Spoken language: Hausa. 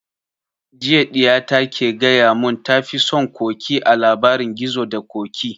Jiya ɗiya ta ke gaya mun ta fi son ƙoƙi a labarin gizo da ƙoƙi